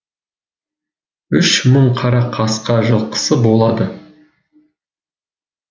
үш мың қара қасқа жылқысы болады